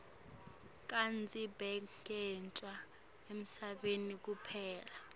kadzeni bekusetjentwa emasimini kuphela